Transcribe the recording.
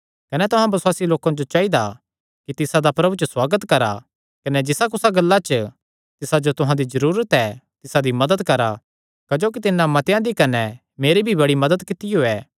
कने तुहां बसुआसी लोकां जो चाइदा कि तिसादा प्रभु च सुआगत करा कने जिसा कुसी गल्ला च तिसा जो तुहां ते जरूरत ऐ तिसा दी मदत करा क्जोकि तिन्नै मतेआं दी कने मेरी भी बड़ी मदत कित्तियो ऐ